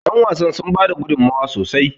yanwasan sun bada gudummawa sosai